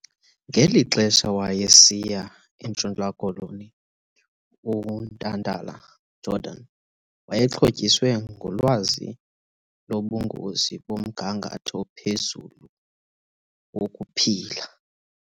Ngeli xesha wayesiya eNtshona Koloni, uNtantala-Jordan wayexhotyisiwe ngolwazi lobungozi bomgangatho ophezulu wokuphila.